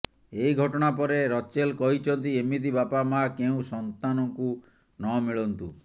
ଏହି ଘଟଣା ପରେ ରଚେଲ କହିଛନ୍ତି ଏମିତି ବାପା ମା କେଉଁ ସନ୍ତାନକୁ ନମିଳନ୍ତୁ